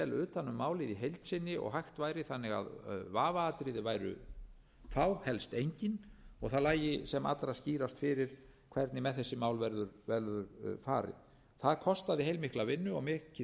utan um málið heild sinni og hægt væri þannig að vafaatriði væru fá helst engin og það lægi sem allra skýrast fyrir hvernig með þessi mál verður farið það kostaði heilmikla vinnu og mikið samráð við sérfræðinga á